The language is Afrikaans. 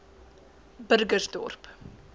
burgersdorp